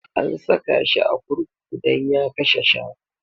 An saka shi a kurkuku dan ya kashe shanu.